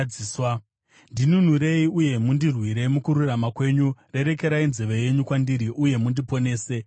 Ndinunurei uye mundirwire mukururama kwenyu; rerekerai nzeve yenyu kwandiri uye mundiponese.